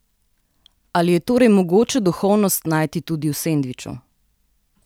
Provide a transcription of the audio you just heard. Ali je torej mogoče duhovnost najti tudi v sendviču?